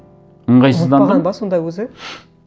ыңғайсыздандым сонда өзі